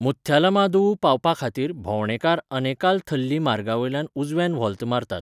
मुथ्यालामादुवू पावपाखातीर भोंवडेकार अनेकाल थल्ली मार्गावयल्यान उजव्यान व्होल्त मारतात.